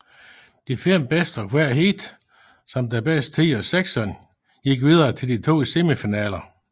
De fem bedste fra hvert heat samt den bedste tid af sekserne gik videre til de to semifinaler